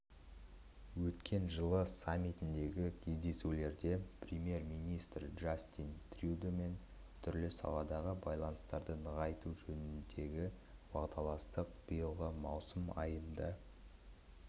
өткен жылы саммитіндегі кездесуде премьер-министр джастин трюдомен түрлі саладағы байланыстарды нығайту жөнінде уағдаластық биылғы маусым айында